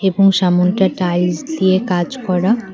এবং সামনেটা টাইলস দিয়ে কাজ করা।